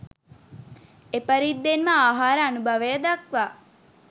එපරිද්දෙන්ම ආහාර අනුභවය දක්වා